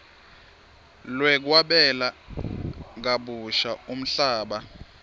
lwekwabela kabusha umhlaba